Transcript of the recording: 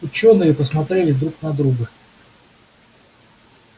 учёные посмотрели друг на друга